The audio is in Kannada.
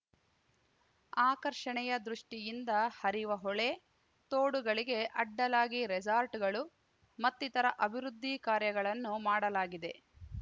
ಆಕರ್ಷಣೆಯ ದೃಷ್ಟಿಯಿಂದ ಹರಿವ ಹೊಳೆ ತೋಡುಗಳಿಗೆ ಅಡ್ಡಲಾಗಿ ರೆಸಾರ್ಟ್‌ಗಳು ಮತ್ತಿತರ ಅಭಿವೃದ್ಧಿ ಕಾರ್ಯಗಳನ್ನು ಮಾಡಲಾಗಿದೆ